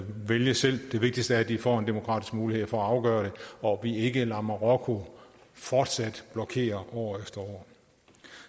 vælge selv det vigtigste er at de får en demokratisk mulighed for at afgøre det og at vi ikke lader marokko fortsat blokere år efter år